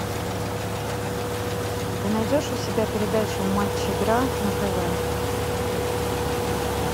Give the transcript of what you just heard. ты найдешь у себя передачу матч игра на тв